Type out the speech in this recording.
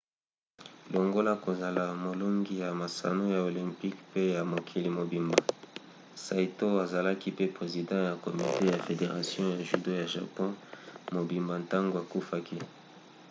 longola kozola molongi ya masano ya olympic pe ya mokili mobimba saito azalaki pe president ya komite ya federation ya judo ya japon mobimba ntango akufaki